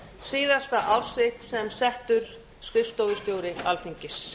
síðasta ár sitt sem settur skrifstofustjóri alþingis